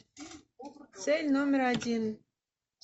цель номер один